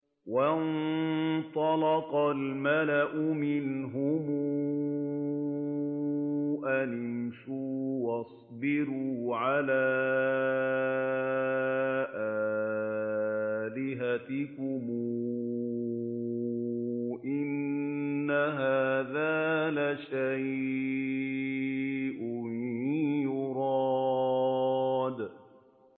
وَانطَلَقَ الْمَلَأُ مِنْهُمْ أَنِ امْشُوا وَاصْبِرُوا عَلَىٰ آلِهَتِكُمْ ۖ إِنَّ هَٰذَا لَشَيْءٌ يُرَادُ